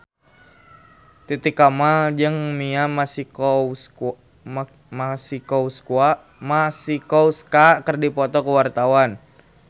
Titi Kamal jeung Mia Masikowska keur dipoto ku wartawan